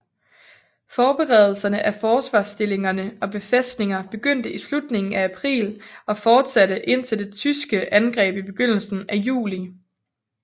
Forberedelserne af forsvarstillinger og befæstninger begyndte i slutningen af april og fortsatte indtil det tyske angreb i begyndelsen af juli